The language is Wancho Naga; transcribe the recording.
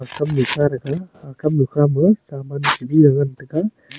kamnu kha taga aga kamnu ma saman nguntaga.